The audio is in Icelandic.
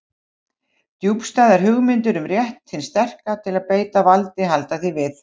Djúpstæðar hugmyndir um rétt hins sterka til að beita valdi halda því við.